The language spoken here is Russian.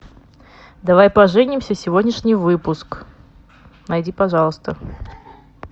давай поженимся сегодняшний выпуск найди пожалуйста